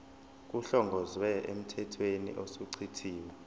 kuhlongozwe emthethweni osuchithiwe